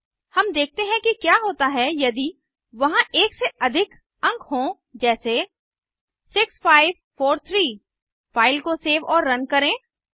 अब देखते हैं कि क्या होता है यदि वहां एक से अधिक अंक हों जैसे 6543 फ़ाइल को सेव और रन करें